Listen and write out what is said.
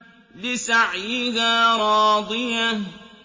لِّسَعْيِهَا رَاضِيَةٌ